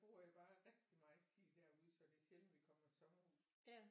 Bruger jeg jo bare rigtig meget tid derude så det er sjældent vi i sommerhus